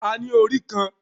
A ní orí kan